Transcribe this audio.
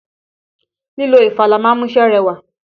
Lílo ìfalà ma ń múṣẹ́ rẹwà.